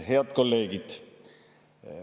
Head kolleegid!